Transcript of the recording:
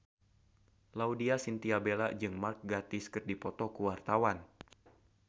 Laudya Chintya Bella jeung Mark Gatiss keur dipoto ku wartawan